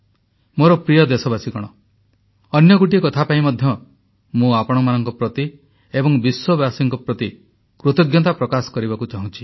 ମୋର ପ୍ରିୟ ଦେଶବାସୀଗଣ ଅନ୍ୟ ଗୋଟିଏ କଥା ପାଇଁ ମଧ୍ୟ ମୁଁ ଆପଣମାନଙ୍କ ପ୍ରତି ଏବଂ ବିଶ୍ୱବାସୀଙ୍କ ପ୍ରତି କୃତଜ୍ଞତା ପ୍ରକାଶ କରିବାକୁ ଚାହୁଁଛି